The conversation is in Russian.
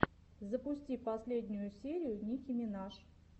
запусти последнюю серию ники минаж